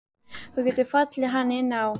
Þú getur falið hann inni á.